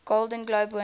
golden globe winners